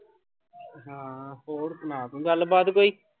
ਹਾਂ ਹੋਰ ਸੁਣਾ ਤੂੰ ਗੱਲਬਾਤ ਕੋਈ।